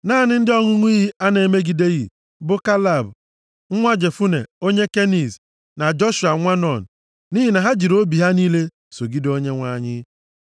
Naanị ndị ọṅụṅụ iyi a na-emegideghị bụ Kaleb, nwa Jefune onye Keniz, + 32:12 Nkọwa e nyere banyere akwụkwọ Jenesis isi nke \+xt 15:19\+xt*, nakwa nʼisi nke \+xt 36:11\+xt*, mere ka anyị mata na ndị Keniz bụ ndị Kenan. Ha bụ ndị si nʼagbụrụ Ịsọ. na Joshua nwa Nun, nʼihi na ha jiri obi ha niile sogide Onyenwe anyị.